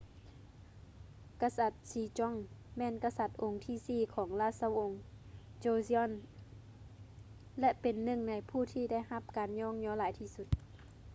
ກະສັດ sejong ແມ່ນກະສັດອົງທີສີ່ຂອງລາຊະວົງ joseon ແລະ ເປັນໜຶ່ງໃນຜູ້ທີ່ໄດ້ຮັບການຍ້ອງຍໍຫຼາຍທີ່ສຸດ